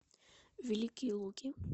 великие луки